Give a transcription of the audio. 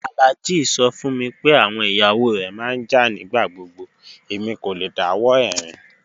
Alhaji sọ fún mí pé awọn iyawo rẹ má n jà nigbagbogbo, èmi kò lẹ̀ dáwọ̀ ẹ̀rin